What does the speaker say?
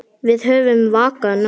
Við höfum vakað nóg.